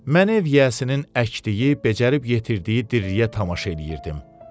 Mən ev yiyəsinin əkdiyi, becərib yetirdiyi dirliyə tamaşa eləyirdim.